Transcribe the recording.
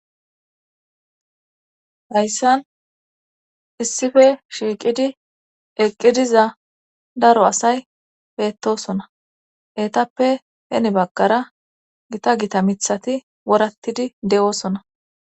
Hayssan issife shiiqidi eqqidiza daro asay peettosona etappe heni baggara gita gita mithati worattidi de7osona